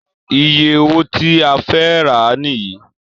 Iye owó tí a fẹ́ rà á nìyí